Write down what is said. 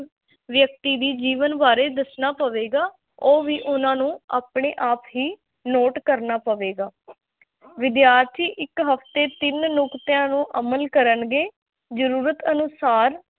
ਵਿਅਕਤੀ ਦੀ ਜੀਵਨ ਬਾਰੇ ਦੱਸਣਾ ਪਵੇਗਾ, ਉਹ ਵੀ ਉਹਨਾਂ ਨੂੰ ਆਪਣੇ ਆਪ ਹੀ note ਕਰਨਾ ਪਵੇਗਾ ਵਿਦਿਆਰਥੀ ਇੱਕ ਹਫ਼ਤਾ ਤਿੰਨ ਨੁਕਤਿਆਂ ਨੂੰ ਅਮਲ ਕਰਨਗੇ, ਜ਼ਰੂਰਤ ਅਨੁਸਾਰ